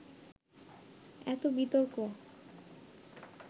এত বিতর্ক